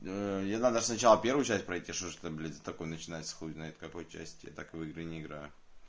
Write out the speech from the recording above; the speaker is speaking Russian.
ээ ей надо ж сначала первую часть пройти что ж блять это за такое начинается хуй знает с какой части я так в игры не играю